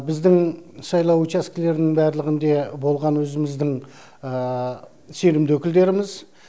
біздің сайлау учаскелерінің барлығынде болған өзіміздің сенімді өкілдеріміз